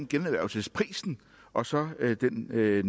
generhvervelsesprisen og så den ned